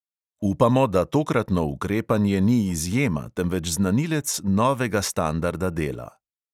Upamo, da tokratno ukrepanje ni izjema, temveč znanilec novega standarda dela.